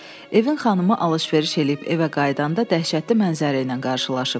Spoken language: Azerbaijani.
Evin xanımı alış-veriş eləyib evə qayıdanda dəhşətli mənzərə ilə qarşılaşıb.